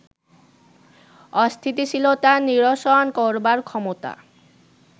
অস্থিতিশীলতা নিরসন করবার ক্ষমতা